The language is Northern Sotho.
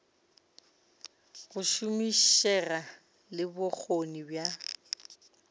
go šomišega le bokgoni bja